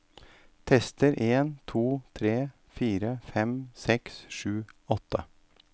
Tester en to tre fire fem seks sju åtte